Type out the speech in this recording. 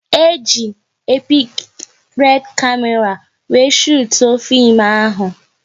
E ji epik red kamera wéré shutuo fim ahụ